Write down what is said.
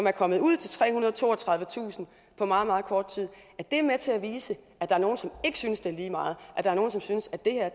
er kommet ud til trehundrede og toogtredivetusind på meget meget kort tid er med til at vise at der er nogle som ikke synes det er lige meget at der er nogle som synes at det her